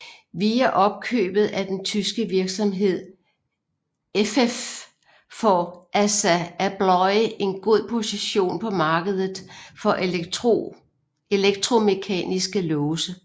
Via opkøbet af den tyske virksomhed effeff får ASSA ABLOY en god position på markedet for elektromekaniske låse